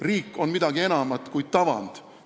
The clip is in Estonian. Riik on midagi enamat kui tavand.